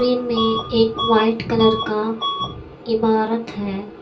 Frame में एक white colour का एक इमारत है।